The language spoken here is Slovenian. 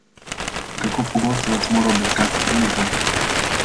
In kako pogosto vas mora obiskati dimnikar?